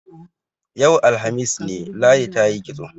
Yau, alhamis ne, Ladi ta yi kitso.